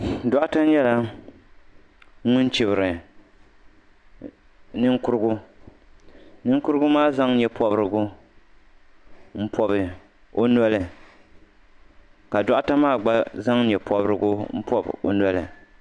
Dɔɣita nyɛla ŋuni chibiri nin kurigu ninkurigu maa zaŋ yee pɔbirigu n pɔbi o noli ka dɔɣita maa gba zaŋ yee pɔbirigu n pɔbi o noli.